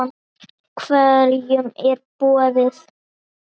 Hverjum er boðið?